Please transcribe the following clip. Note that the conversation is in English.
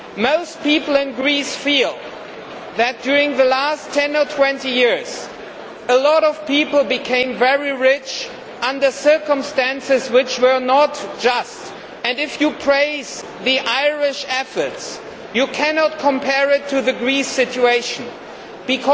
Most people in Greece feel that during the last 10 or 20 years, a lot of people became very rich under circumstances which were not just. If you praise the Irish efforts, you cannot compare it to the situation in Greece.